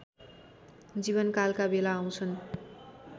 जीवनकालका बेला आउँछन्